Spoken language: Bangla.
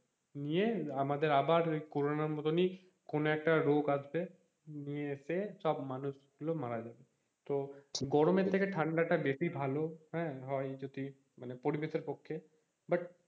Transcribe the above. নিয়ে আমাদের আবার করোনার মতন ই কোনো একটা রোগ আসবে নিয়ে এসে সব মানুষ গুলো মারা যায় তো গরমের থেকে ঠান্ডাটা বেশি ভালো, হ্যাঁ, হয় যদি পরিবেশের পক্ষে but